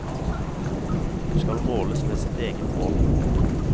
Hun skal måles med sitt eget mål.